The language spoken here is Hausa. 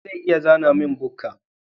Wa zai iya zana min bukka?